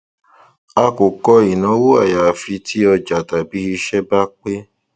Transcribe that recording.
a kò kọ ìnáwó àyàfi tí ọjà tàbí iṣẹ bá pé